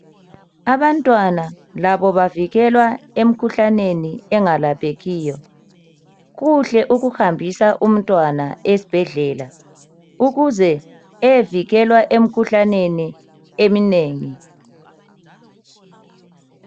Abantwana labo bavikelekile emkhuhlane engalaphekiyo. Kuhle ukuhambisa umntwana esibhedlela ukuse eyevikwelwa emikhuhlaneni eminengi.